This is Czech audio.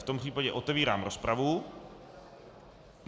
V tom případě otevírám rozpravu.